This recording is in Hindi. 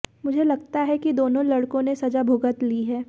मुझे लगता है कि दोनों लडक़ों ने सजा भुगत ली है